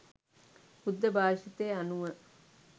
බුද්ධ භාෂිතය අනුව